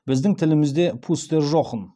біздің тілімізде пустер жохн